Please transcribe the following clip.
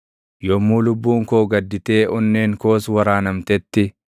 Yommuu lubbuun koo gadditee onneen koos waraanamtetti,